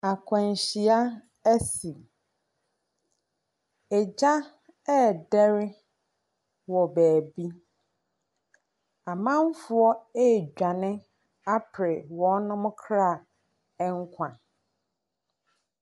Akwanhyia bi asi. Gya redɛre wɔ baabii. Amanfoɔ redwane apre wɔn kra nkwa.